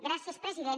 gràcies president